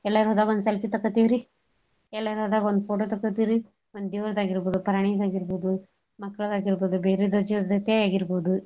ಎಲ್ಯರ ಹೋದಾಗ್ ಒಂದ್ selfie ಎಲ್ಯರ ಹೋದಾಗ್ ಒಂದ್ photo ತಕ್ಕೋಟತೀವ್ರಿ ಒಂದ್ ದೇವ್ರದ್ ಆಗೀರ್ಬೋದು ಪ್ರಾಣೀದ್ ಆಗೀರ್ಬೋದು ಮಕ್ಳದ್ ಆಗೀರ್ಬೋದು ಬೇರೆದರ್ ಜೊತೆ ಆಗೀರ್ಬೋದು.